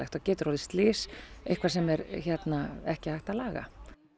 það getur orðið slys eitthvað sem ekki hægt að laga